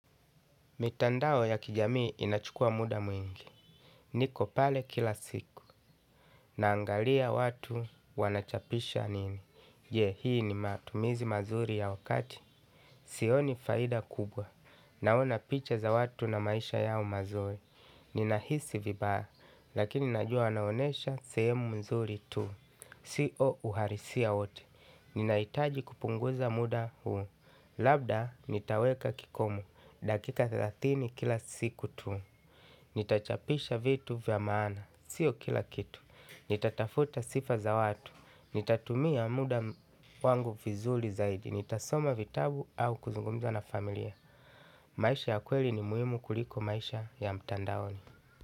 Mitandao ya kijamii inachukua muda mwingi. Niko pale kila siku. Naangalia watu wanachapisha nini. Je, hii ni matumizi mazuri ya wakati. Sioni faida kubwa. Naona picha za watu na maisha yao mazuri. Ninahisi vibaya. Lakini najua wanaonyesha sehemu nzuri tu. Siyo uhalisia wote. Ninahitaji kupunguza muda huu. Labda, nitaweka kikomo. Dakika thelathini kila siku tu. Nitachapisha vitu vya maana. Siyo kila kitu. Nitatafuta sifa za watu. Nitatumia muda wangu vizuri zaidi. Nitasoma vitabu au kuzungumza na familia. Maisha ya kweli ni muhimu kuliko maisha ya mtandaoni.